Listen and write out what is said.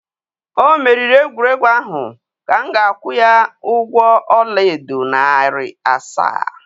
o meriri egwuregwu ahụ ka m ga-akwụ ya ụgwọ ọla edo narị asaa.